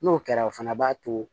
N'o kɛra o fana b'a to